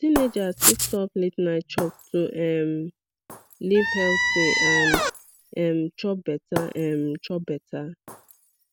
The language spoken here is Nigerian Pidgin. teenagers fit stop la ten ight chop to um live healthy and um chop better um chop better